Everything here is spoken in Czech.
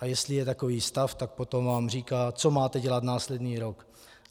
A jestli je takový stav, tak potom vám říká, co máte dělat následný rok.